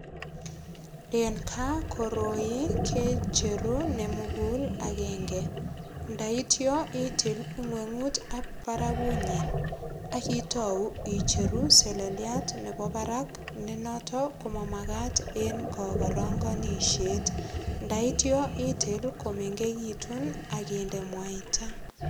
En kaa koroi kecheru nemugul agenge ndaityo itil ng'weng'ut ak barakunyin akitou icheru seleliat nebo barak nenotok komamakat en kokorongonishiet ndaityo itil komengekitun akinde mwaita